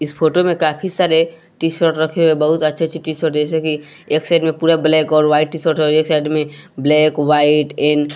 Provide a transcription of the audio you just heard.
इस फोटो में काफी सारे टी शर्ट रखे हुए बहुत अच्छे अच्छे टी शर्ट जैसे कि एक साइड में पूरा ब्लैक और व्हाइट टी शर्ट हैं और एक साइड में ब्लैक व्हाईट एं--